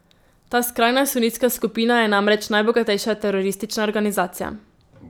Ta skrajna sunitska skupina je namreč najbogatejša teroristična organizacija.